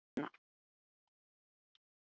Meira hvað hefur tognað úr þér, drengur!